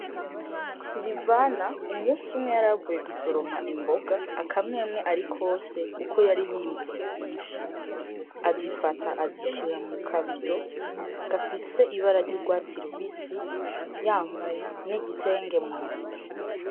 Sirivana umusi umwe yaravuye gusoroma imboga akamwemwe ari kwose Kuko yari yimbuye vyinshi . Azifata azishira mukabido gafise ibara ry’urwatsi rubisi yambaye n igitenge munsi.